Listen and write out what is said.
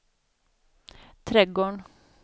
trädgården